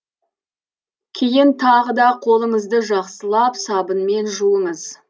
кейін тағы да қолыңызды жақсылап сабынмен жуыңыз